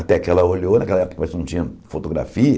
Até que ela olhou, naquela época a gente não tinha fotografia,